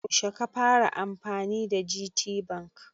Yaushe ka fara amfani da GTBank?